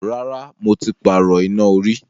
Rárá, mo ti pààrọ̀ iná orí.